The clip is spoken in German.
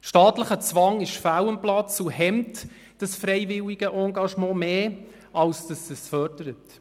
Staatlicher Zwang ist fehl am Platz und hemmt dieses freiwillige Engagement mehr, als dass es dieses fördert.